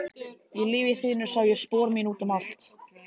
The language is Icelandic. Í lífi þínu sá ég spor mín út um allt.